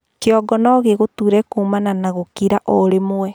kĩongo nogĩgũtuure kuumana na gũkĩra o rĩmwe